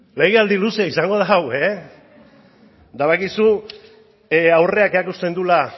legealdi luzea izango da hau eta badakizu aurreak erakusten duela